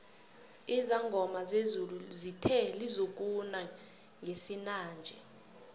izangoma zezulu zithe lizokuna ngesinanje